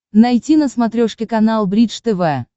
найти на смотрешке канал бридж тв